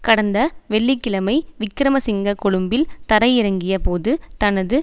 கடந்த வெள்ளி கிழமை விக்கிரமசிங்க கொழும்பில் தரையிறங்கிய போது தனது